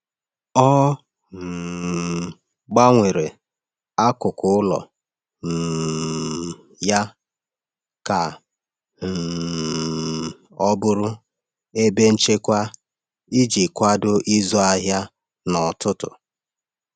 Ọ um gbanwere akụkụ ụlọ um ya ka um ọ bụrụ ebe nchekwa iji kwado ịzụ ahịa n’ọtụtù.